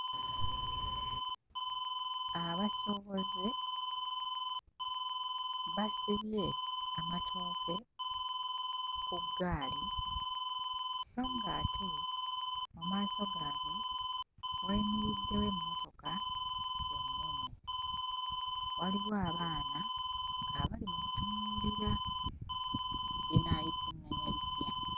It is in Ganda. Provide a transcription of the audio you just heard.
Abasuubuzi basibye amatooke ku ggaali so ng'ate mu maaso gaabwe wayimiriddewo emmotoka ennene. Waliwo abaana abali mu kutunuulira; binaayisiŋŋanya bitya?